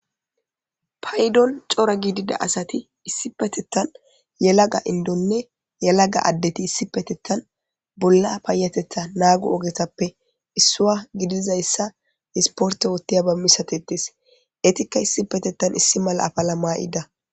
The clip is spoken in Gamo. Payidon cora gidida asati issi petettan yalaga indonne yalaga addeti issi petettan bolla payatetha naagu ogetappe issua gidizayssa hisporte wottiya ba misatetes eetikka issi petettan issi mala apala maa7ida